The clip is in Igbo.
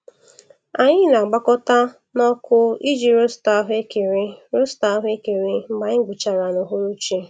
Anyị na-agbakọta n'ọkụ iji rosta ahụekere rosta ahụekere mgbe anyị gbuchara n'uhuruchi.